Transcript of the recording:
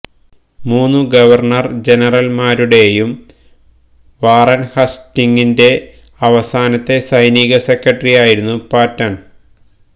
മൂന്നു ഗവർണർ ജനറൽമാരുടെയും വാറൻ ഹസ്റ്റിംഗിന്റെ അവസാനത്തെ സൈനിക സെക്രട്ടറിയായിരുന്നു പാറ്റൺ